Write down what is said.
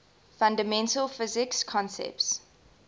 fundamental physics concepts